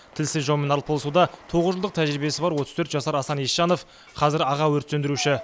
тілсіз жаумен арпалысуда тоғыз жылдық тәжірибесі бар отыз төрт жасар асан есжанов қазір аға өрт сөндіруші